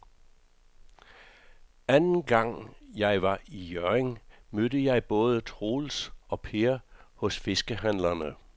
Anden gang jeg var i Hjørring, mødte jeg både Troels og Per hos fiskehandlerne.